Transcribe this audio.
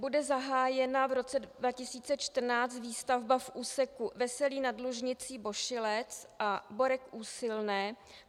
Bude zahájena v roce 2014 výstavba v úseku Veselí nad Lužnicí - Bošilec a Borek - Úsilné?